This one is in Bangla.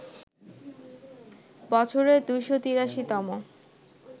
বছরের ২৮৩ তম